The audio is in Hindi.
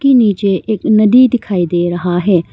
की नीचे एक नदी दिखाई दे रहा है।